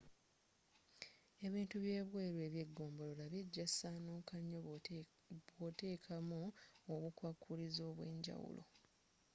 ebintu byebweru ebyegombolola bijja kusaanuka nnyo bwoteekamu obukwakulizo obwenjawulo